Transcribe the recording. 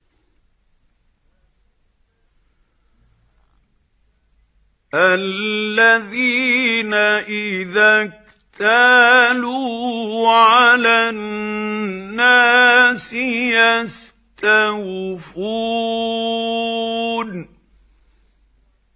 الَّذِينَ إِذَا اكْتَالُوا عَلَى النَّاسِ يَسْتَوْفُونَ